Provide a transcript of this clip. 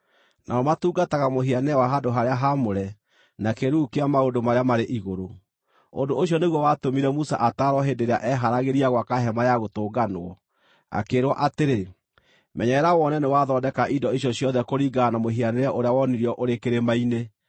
Nao matungataga mũhianĩre wa handũ-harĩa-haamũre na kĩĩruru kĩa maũndũ marĩa marĩ igũrũ. Ũndũ ũcio nĩguo watũmire Musa ataarwo hĩndĩ ĩrĩa eeharagĩria gwaka Hema-ya-Gũtũnganwo, akĩĩrwo atĩrĩ: “Menyerera wone nĩwathondeka indo icio ciothe kũringana na mũhianĩre ũrĩa wonirio ũrĩ kĩrĩma-inĩ.”